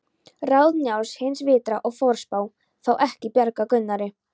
Ráð Njáls, hins vitra og forspáa, fá ekki bjargað Gunnari.